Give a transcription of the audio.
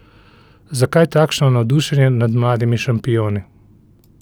Zakaj takšno navdušenje nad mladimi šampioni?